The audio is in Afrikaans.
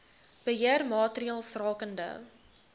beheer maatreëls rakende